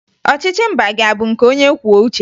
Ọchịchị mba gị a bụ nke onyekwuouche ya?